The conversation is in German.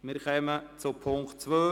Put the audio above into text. Wir kommen zu Punkt 2: